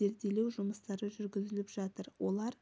зерделеу жұмыстары жүргізіліп жатыр олар